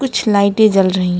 कुछ लाइटें जल रही हैं।